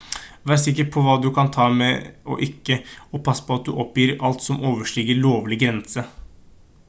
vær sikker på hva du kan ta med og ikke og pass på at du oppgir alt som overstiger lovlig grense